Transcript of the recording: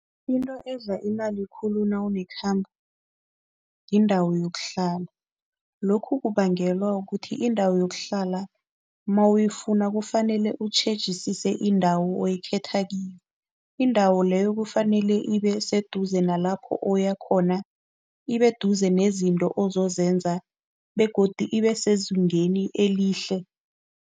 Into edla imali khulu nawunekhamba yindawo yokuhlala. Lokhu kubangelwa kukuthi indawo yokuhlala mawuyifuna kufanele utjhejisise indawo okhetha kiyo. Indawo leyo kufanele ibeseduze nalapho oyakhona, ibeduze nezinto ozozenza begodu ibesezingeni elihle.